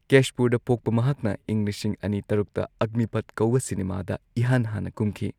ꯀꯦꯁꯄꯨꯔꯗ ꯄꯣꯛꯄ ꯃꯍꯥꯛꯅ ꯏꯪ ꯂꯤꯁꯤꯡ ꯑꯅꯤ ꯇꯔꯨꯛꯇ ꯑꯒꯅꯤꯄꯊ ꯀꯧꯕ ꯁꯤꯅꯦꯃꯥꯗ ꯏꯍꯥꯟ ꯍꯥꯟꯅ ꯀꯨꯝꯈꯤ꯫